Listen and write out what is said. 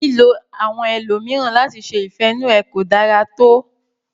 Lílo àwọn ẹlòmíràn láti ṣe ìfẹ inú ẹ ko dára to.